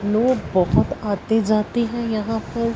लोग बहोत आते जाते हैं यहां पर--